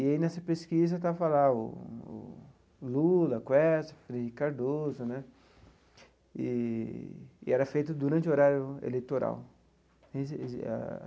E aí, nessa pesquisa, estava lá o Lula, Quércia, Henrique Cardoso né, eee e era feito durante o horário eleitoral.